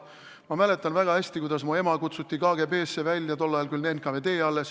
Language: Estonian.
Ma mäletan väga hästi, kuidas mu ema kutsuti KGB-sse, tol ajal oli see küll NKVD.